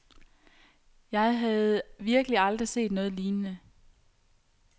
Jeg havde virkeligt aldrig set noget lignende.